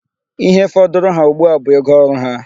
Ihe fọdụrụ ha ugbua a bụ ego oru ha.